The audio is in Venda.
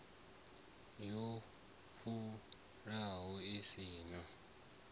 yo vhofhanaho i si na